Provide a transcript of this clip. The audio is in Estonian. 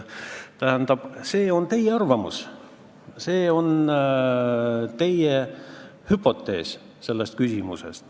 Tähendab, see on teie arvamus, see on teie hüpotees selles küsimuses.